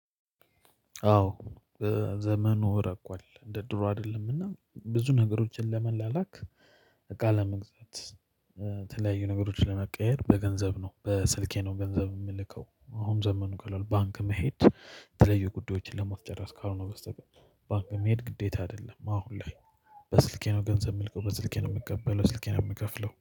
አዎ ዘመኑ ረቋል እንደ ድሮ አይደለም እና ብዙ ነገሮችን ለመላላክ ለመግዛት የተለያዩ ነገሮችን ለመቀየር በገንዘብ ነው በስልኬ ነው ገንዘብ የምልከው አሁን ዘመኑ ቀሏል ባንክ መሄድ የተለያዩ ጉዳዮችን ለማስጨረስ ካልሆነ በስተቀር ባንክ መሄድ ግዴታ አይደለም አሁን ላይ በስልኬ ነው ገንዘብ የምልከው። በስልኬ ነው የምቀበለው። በስልኬ ነው የምከፍለው።